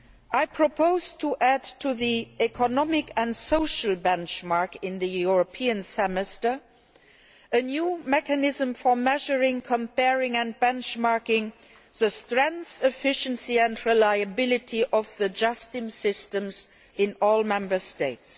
I propose to add to the economic and social benchmark in the European Semester a new mechanism for measuring, comparing and benchmarking the strength, efficiency and reliability of the justice systems in all Member States.